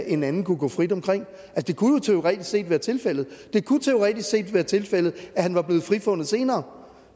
en anden kunne gå frit omkring det kunne jo teoretisk set være tilfældet og det kunne teoretisk set være tilfældet at han var blevet frifundet senere